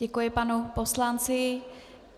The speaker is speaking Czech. Děkuji panu poslanci.